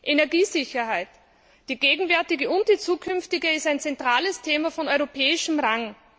Energiesicherheit die gegenwärtige und die zukünftige ist ein zentrales Thema von europäischem Rang.